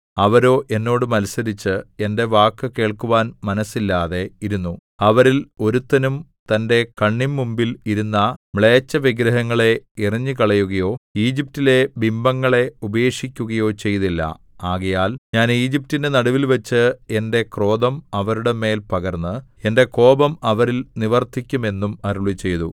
അവരോ എന്നോട് മത്സരിച്ച് എന്റെ വാക്കു കേൾക്കുവാൻ മനസ്സില്ലാതെ ഇരുന്നു അവരിൽ ഒരുത്തനും തന്റെ കണ്ണിന്മുമ്പിൽ ഇരുന്ന മ്ലേച്ഛവിഗ്രഹങ്ങളെ എറിഞ്ഞുകളയുകയോ ഈജിപ്റ്റിലെ ബിംബങ്ങളെ ഉപേക്ഷിക്കുകയോ ചെയ്തില്ല ആകയാൽ ഞാൻ ഈജിപ്റ്റിന്റെ നടുവിൽവച്ച് എന്റെ ക്രോധം അവരുടെ മേൽ പകർന്ന് എന്റെ കോപം അവരിൽ നിവർത്തിക്കും എന്നും അരുളിച്ചെയ്തു